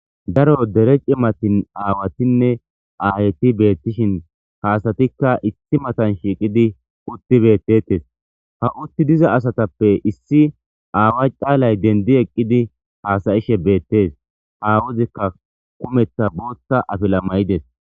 Daro dere cimati awatone ayeti betishin ha asatika issi matan shiqidi uti betetes ha uti diza asatape issi awa calay dendi eqidi hasyishe betes awaozika bootha afila mayides